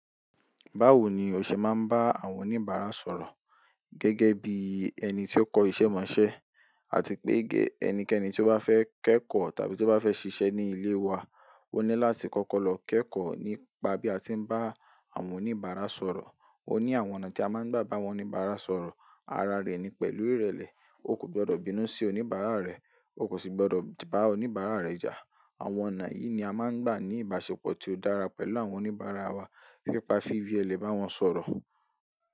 Báwo ni o ṣe máa ń bá àwọn oníbàárà sọ̀rọ̀ gẹ́gẹ́ bí ẹni tí ó kọ́ iṣẹ́ mọ̀ọ́ṣẹ́, àti pé ẹnikẹ́ni tí ó bá fẹ́ kẹ́kọ̀ọ́ tàbí tí ó bá fẹ́ ṣiṣẹ́ ní ilé wa, ó ní láti kọ́kọ́ lọ kẹ́kọ̀ọ́ nípa bí a ti ń bá àwọn oníbàárà sọ̀rọ̀. Ó ní àwọn ọ̀nà tí a máa ń gbà bá àwọn oníbàárà sọ̀rọ̀. Ara rẹ̀ ni pẹ̀lú ìrẹ̀lẹ̀. Ó kò gbọdọ̀ bínú sí oníbàárà rẹ̀, ó kò sì gbọdọ̀ bá oníbàárà rẹ̀ jà. Àwọn ọ̀nà yìí ni a máa ń gbà ní ìbáṣepọ̀ tí ó dára pẹ̀lú àwọn oníbàárà wa. Pípá fífi èlé bá wọn sọ̀rọ̀.